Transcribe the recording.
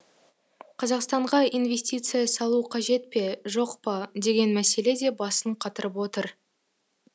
қазақстанға инвестиция салу қажет пе жоқ па деген мәселе де басын қатырып отыр